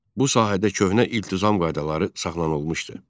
Bu sahədə köhnə iltizam qaydaları saxlanılmışdı.